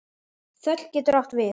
Þöll getur átt við